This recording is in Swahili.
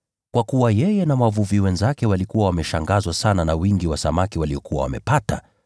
Kwa kuwa yeye na wavuvi wenzake walikuwa wameshangazwa sana na wingi wa samaki waliokuwa wamepata.